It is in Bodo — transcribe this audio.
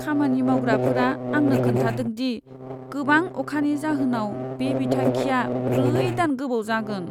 खामानि मावग्राफोरा आंनो खोन्थादों दि, गोबां अखानि जाहोनाव बे बिथांखिया ब्रै दान गोबाव जागोन।